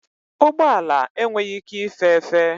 Ụgbọ ala enweghị ike ife efe.